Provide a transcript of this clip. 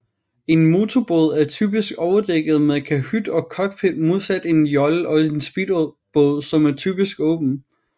En motorbåd er typisk overdækket med kahyt og cockpit modsat en jolle og speedbåd som typisk er åben